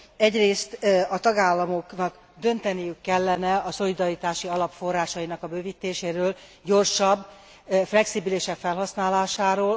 Egyrészt a tagállamoknak dönteniük kellene a szolidaritási alap forrásainak a bővítéséről, gyorsabb és flexibilisebb felhasználásáról.